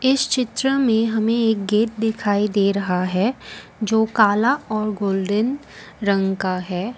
इस चित्र में हमें एक गेट दिखाई दे रहा है जो काला और गोल्डेन रंग का है।